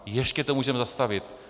Ještě to můžeme zastavit.